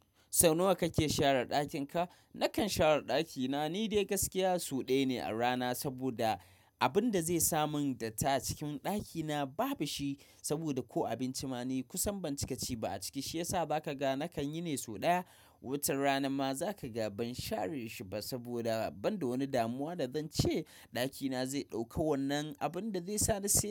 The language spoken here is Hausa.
Sau nawa kake share ɗakin ka? Nakan share ɗakina ni dai gaskiya sau ɗaya ne a rana saboda abinda zai sa man datti a cikin dakina ba bushi saboda ko abinci ma kusan bancika ci ba a ciki shiyasa zakaga nakanyine sau daya. Wutar rana ma za ka ga ban share shi ba saboda ban da wani damuwa da zan ce ɗakina zai ɗauki wannan abun da zai sa ni tsira.